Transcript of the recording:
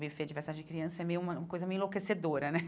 Buffet de festa de criança é meio uma coisa meio enlouquecedora né.